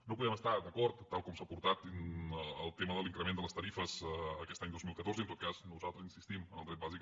no hi podem estar d’acord amb tal com s’ha portat el tema de l’increment de les tarifes aquest any dos mil catorze i en tot cas nosaltres insistim en el dret bàsic